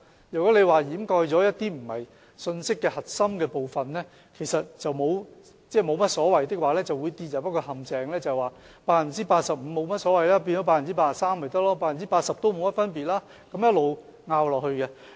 如果掩蓋了一些非信息核心的部分是沒有所謂的話，就會跌入一個陷阱，認為 85% 變成 83% 沒所謂 ，80% 也沒有甚麼分別，然後一直爭拗下去。